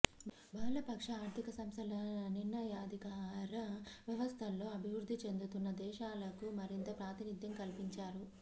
బహుళపక్ష ఆర్థిక సంస్థల నిర్ణయాధికార వ్యవస్థల్లో అభివృద్ధి చెందుతున్న దేశాలకు మరింత ప్రాతినిధ్యం కల్పించాలి